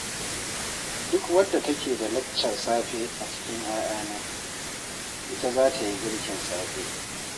Duk wadda take da laccar safe a cikin 'ya'yana, ita za ta yi girkin safe